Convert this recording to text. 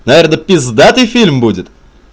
наверное пиздатый фильм будет